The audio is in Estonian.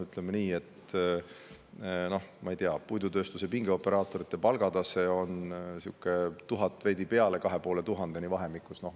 Ütleme nii, et puidutööstuse pingioperaatorite palgatase on vahemikus 1000, veidi peale, kuni 2500 eurot.